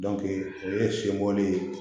o ye sen bɔli ye